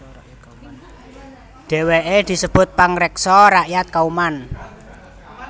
Dheweke disebut pangreksa rakyat Kauman